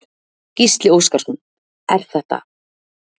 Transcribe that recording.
Gísli Óskarsson: Er þetta er hættulegt?